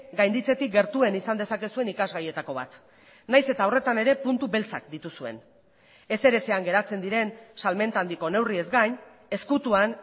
gainditzetik gertuen izan dezakezuen ikasgaietako bat nahiz eta horretan ere puntu beltzak dituzuen ezerezean geratzen diren salmenta handiko neurriez gain ezkutuan